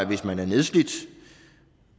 hvis man er nedslidt